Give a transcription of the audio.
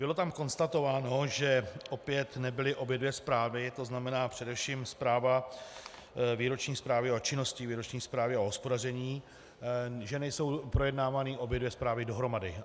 Bylo tam konstatováno, že opět nebyly obě dvě zprávy, to znamená především zpráva... výroční zprávy o činnosti, výroční zprávy o hospodaření, že nejsou projednávány obě dvě zprávy dohromady.